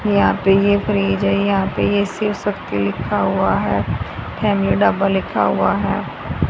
यहां पे यह फ्रिज है यहां पे यह शिव शक्ति लिखा हुआ है फैमिली ढाबा लिखा हुआ है।